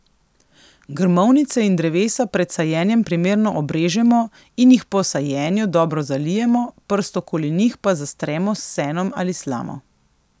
Grmovnice in drevesa pred sajenjem primerno obrežemo in jih po sajenju dobro zalijemo, prst okoli njih pa zastremo s senom ali slamo.